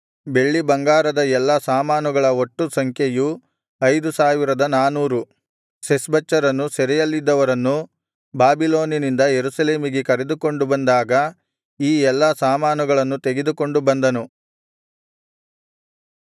ಬೆಳ್ಳಿಬಂಗಾರದ ಎಲ್ಲಾ ಸಾಮಾನುಗಳ ಒಟ್ಟು ಸಂಖ್ಯೆಯು ಐದು ಸಾವಿರದ ನಾನೂರು ಶೆಷ್ಬಚ್ಚರನು ಸೆರೆಯಲ್ಲಿದ್ದವರನ್ನು ಬಾಬಿಲೋನಿನಿಂದ ಯೆರೂಸಲೇಮಿಗೆ ಕರೆದುಕೊಂಡು ಬಂದಾಗ ಈ ಎಲ್ಲಾ ಸಾಮಾನುಗಳನ್ನು ತೆಗೆದುಕೊಂಡು ಬಂದನು